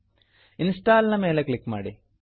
install install ನ ಮೇಲೆ click ಮಾಡಿ